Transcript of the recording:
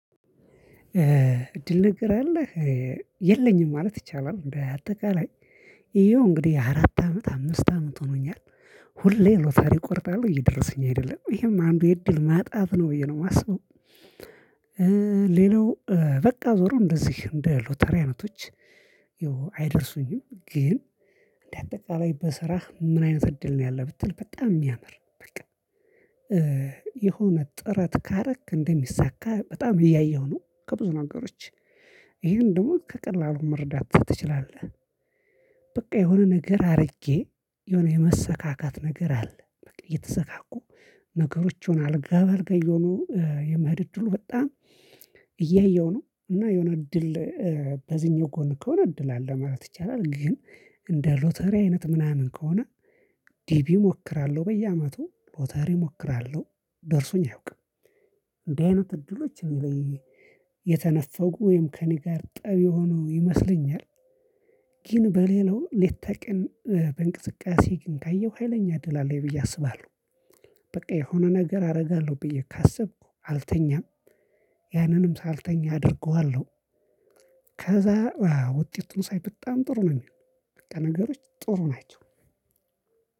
ድል ነግር አለህ የለኝም ማለት ይቻላል እንደ አጠቃላይ ይሄው እንግዲህ አራት አመት አምስት አመት ሆኖኛል። ሁሌ ሎታሪ ቆርጣለሁ እየደረሱኝ አይደለም ይሄም አንዱ የእድል ማጣት ነው ብዬ ነው የማስበው። ሌላው በቃ ዞሮ እንደዚህ እንደ ሎተሪያነቶች አይደርሱኝም። ግን እንደ አጠቃላይ በስራህ ምን አይነት እድል ነው ያለህ ብትል በጣም የሚያምር በቃ የሆነ ጥረት ካረክ እንደሚሳካ በጣም እያየሁ ነው ከብዙ ነገሮች ይሄን ደግሞ ከቀላሉ መረዳት ትችላለህ። በቃ የሆነ ነገር አድርጌ የሆነ የመሰካካት ነገር አለ እየተሰካኩ ነገሮችን አልጋባልጋ እየሆኖ የመሄድ እድሉ በጣም እያየው ነው እና የሆነ እድል በዚህኛው ጎን ከሆነ እድል አለ ማለት ይቻላል። ግን እንደ ሎተሪ አይነት ምናምን ከሆነ ዲቢ እሞክራለሁ በየአመቱ ሎተሪ እሞክራለሁ ደርሶኝ አያውቅም። እንደዚህ አይነት እድሎች የተነፈጉ ወይም ከእኔ ጋር ጠብ የሆነው ይመስለኛል። ግን በሌላው ሌት ቀን በእንቅስቃሴ ግን ካየሁ ሀይለኛ ድል አለኝ ብዬ አስባለሁ። በቃ የሆነ ነገር አደርጋለሁ ብዬ ካሰብኩ አልተኛም ያንንም ሳልተኛ አደርገዋለሁ። ከዛ ውጤቱን ሳይ በጣም ጥሩ ነው የሚሆነው በቃ ነገሮች ጥሩ ናቸው።